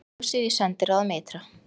Kosið í sendiráðum ytra